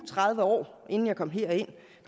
tredive år inden jeg kom herind